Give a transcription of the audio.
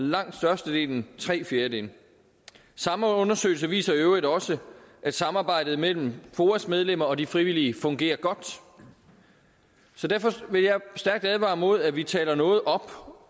langt størstedelen tre fjerdedele det samme undersøgelse viser i øvrigt også at samarbejdet mellem foas medlemmer og de frivillige fungerer godt så derfor vil jeg stærkt advare imod at vi taler noget op